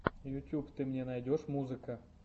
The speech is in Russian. ютьюб ты мне найдешь музыка